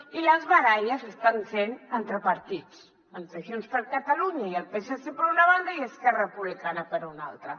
i les baralles s’estan fent entre partits entre junts per catalunya i el psc per una banda i esquerra republicana per una altra